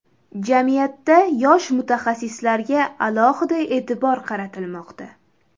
Jamiyatda yosh mutaxassislarga alohida e’tibor qaratilmoqda.